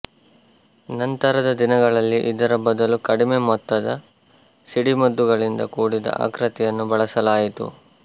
ನಂತರದ ದಿನಗಳಲ್ಲಿ ಇದರ ಬದಲು ಕಡಿಮೆ ಮೊತ್ತದ ಸಿಡಿಮದ್ದುಗಳಿಂದ ಕೂಡಿದ ಆಕೃತಿಯನ್ನು ಬಳಸಲಾಯಿತು